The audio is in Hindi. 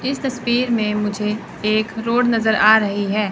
इस तस्वीर में मुझे एक रोड नजर आ रही है।